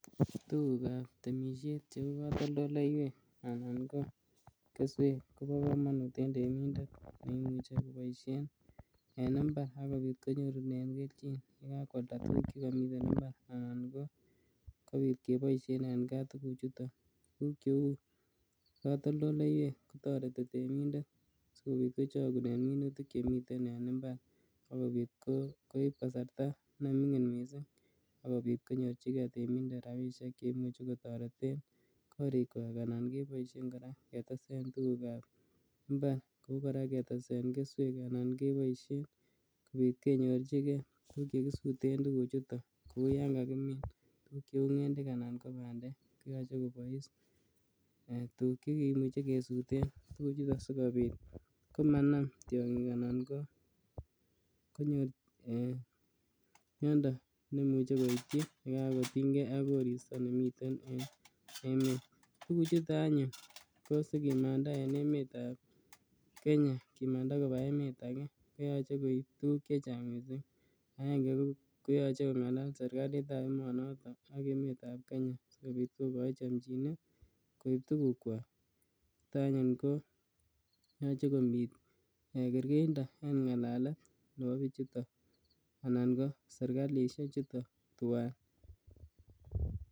Tugukab temisiet cheu katoldoleiywek ana ko keswek kobo kamanut en temindet neimuche koboisien en imbar agopit konyorune keljin yekakwalda tuguk che kamiten imbar anan kopit keboisien en kaa tuguchuton. Tuguk cheu katoldoldoleiywek toreti temindet sigopit kochogunen minutil chemiten en imbar agopit koip kasarta nemingin mising ak kopit konyorchige temindet rapisiek che imuchi kotoreten korikwak anan keboisien kora ketesen tugukab imbar ku kora ketesen keswek anan keboisien sigopit kenyorchige tuguk che kisuten tuguchuton kuyon kakimin cheu ngendek anan ko bandek ko yoche kobois tuguk che kimuche kesuten tuguchuton sigopit komanam tiongik anan ko konyo ee miondo nemuche koityi ye kakotinynge ak koristo nemiten en emet. Tuguchoto anyun ko sikimanda en emetab Kenya kimanda koba emet age koyoche koip tuguk che chang mising. Agenge koyoche kongalal serkalitab emonito ak emetab Kenya sigopit kokai chomchinet koip tugukkwak. Neta anyun ko yoche komi kergeindo eng ngalalet nebo biichuto anan ko serkalisie chuton tuwai.